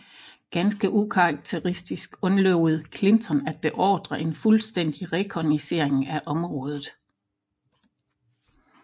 Ganske ukarakteristisk undlod Clinton at beordre en fuldstændig rekognoscering af området